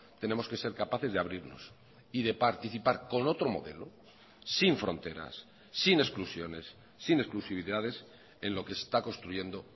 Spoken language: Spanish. tenemos que ser capaces de abrirnos y de participar con otro modelo sin fronteras sin exclusiones sin exclusividades en lo que se está construyendo